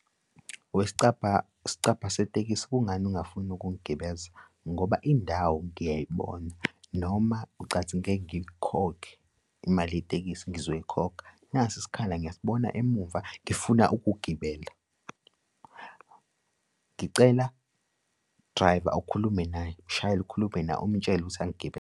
Wesicabha, sicabha setekisi kungani ungafuni ukungigibeza? Ngoba indawo ngiyayibona noma ucathi ngeke ngikhokhe imali yetekisi? Ngizoyikhokha, nasi isikhala ngiyasibona emumva, ngifuna ukugibela. Ngicela, driver ukhulume naye, mshayeli ukhulume naye umutshele ukuthi angigibeze.